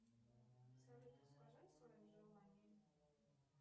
салют расскажи о своем желании